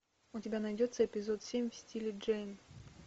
у тебя найдется эпизод семь в стиле джейн